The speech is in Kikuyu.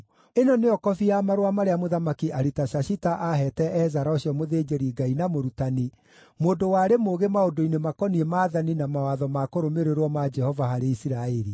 Ĩno nĩyo kobi ya marũa marĩa Mũthamaki Aritashashita aaheete Ezara ũcio mũthĩnjĩri-Ngai na mũrutani, mũndũ warĩ mũũgĩ maũndũ-inĩ makoniĩ maathani na mawatho ma kũrũmĩrĩrwo ma Jehova harĩ Isiraeli: